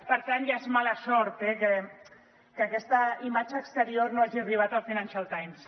per tant ja és mala sort que aquesta imatge exterior no hagi arribat al financial times